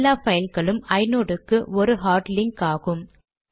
எல்லா பைல்களும் ஐநோட் க்கு ஒரு ஹார்ட் லிங்க் ஆகும்